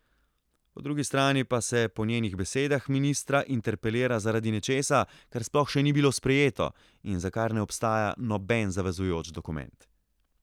Po drugi strani pa se po njenih besedah ministra interpelira zaradi nečesa, kar sploh še ni bilo sprejeto in za kar ne obstaja noben zavezujoč dokument.